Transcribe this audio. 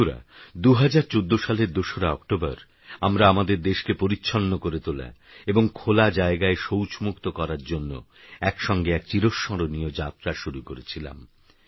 বন্ধুরা ২০১৪সালের২রাঅক্টোবরআমরাআমাদেরদেশকেপরিচ্ছন্নকরেতোলাএবংখোলাজায়গায়শৌচমুক্তকরারজন্যএকসঙ্গেএকচিরস্মরণীয়যাত্রাশুরুকরেছিলাম